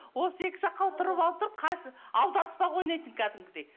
осы екі жаққа отырып отырып аударыспақ ойнайтын кәдімгідей